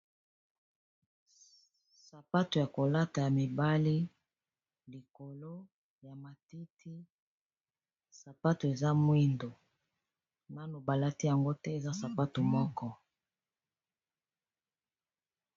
Sapato ya kolata ya mibali likolo ya matiti, sapato eza mwindo nano balati yango te, eza sapato moko.